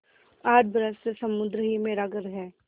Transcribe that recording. आठ बरस से समुद्र ही मेरा घर है